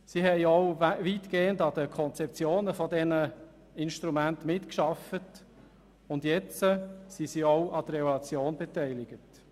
Sie haben auch weitgehend an den Konzeptionen der Instrumente mitgearbeitet und sind jetzt an der Evaluation beteiligt.